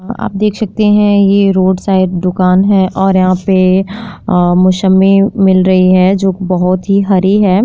आप देख सकते हैं। यह रोड साइड दुकान है और यहाँ पे अ मोसमी मिल रही है जो बहुत ही हरी है।